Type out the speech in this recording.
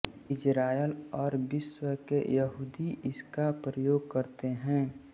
Israel और विश्व के यहूदी इसका प्रयोग करते हैं